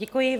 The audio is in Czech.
Děkuji.